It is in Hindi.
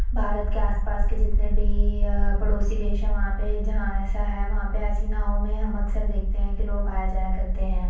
भारत के आसपास के जितने भी अ पड़ोसी देश है वहां पे जहां ऐसा है वहां पे ऐसी नाव में हम अक्सर देखते कि लोग आया जाया करते हैं।